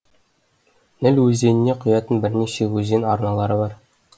ніл өзеніне құятын бірнеше өзен арналары бар